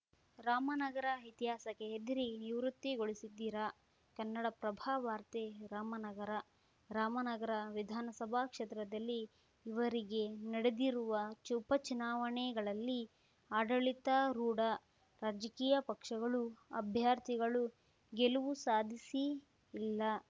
ರಾಮನಗರ ಇತಿಹಾಸಕ್ಕೆ ಹೆದರಿ ನಿವೃತ್ತಿಗೊಳಿಸಿದ್ದೀರಾ ಕನ್ನಡಪ್ರಭ ವಾರ್ತೆ ರಾಮನಗರ ರಾಮನಗರ ವಿಧಾನಸಭಾ ಕ್ಷೇತ್ರದಲ್ಲಿ ಇವರಿಗೆ ನಡೆದಿರುವ ಚುಪಚುನಾವಣೆಗಳಲ್ಲಿ ಆಡಳಿತಾರೂಢ ರಾಜಕೀಯ ಪಕ್ಷಗಳು ಅಭ್ಯರ್ಥಿಗಳು ಗೆಲವು ಸಾಧಿಸಿಯೇ ಇಲ್ಲ